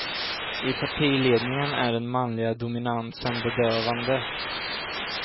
I partiledningen är den manliga dominansen bedövande.